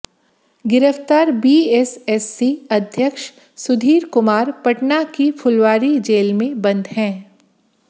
गिरफ्तार बीएसएससी अध्यक्ष सुधीर कुमार पटना की फुलवारी जेल में बंद हैं